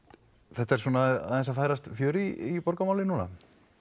þetta er svona aðeina að færast fjör í borgarmálin núna